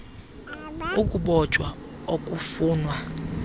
g ukubotshwa okufunwa